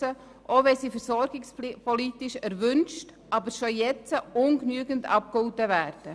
Dies auch, weil sie versorgungspolitisch erwünscht, aber schon jetzt ungenügend abgegolten werden.